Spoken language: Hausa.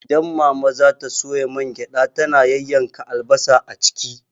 Idan mama za ta soya mangyaɗa, tana yayyanka albasa a ciki.